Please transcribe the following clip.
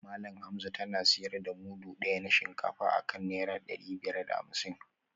Malam Hamza tana sayar da mudu daya na shinkafa akan naira dari biyar da hamsin